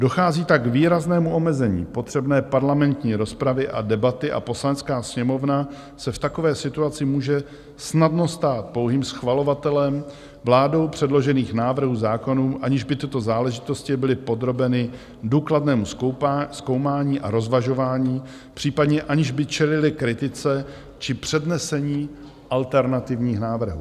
Dochází tak k výraznému omezení potřebné parlamentní rozpravy a debaty a Poslanecká sněmovna se v takové situaci může snadno stát pouhým schvalovatelem vládou předložených návrhů zákonů, aniž by tyto záležitosti byly podrobeny důkladnému zkoumání a rozvažování, případně aniž by čelily kritice či přednesení alternativních návrhů.